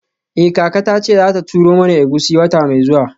Eh kaka tace zata turo mana egusi wata mai zuwa.